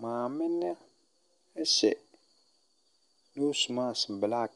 Maame no ɛhyɛ nose mask black.